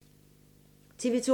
TV 2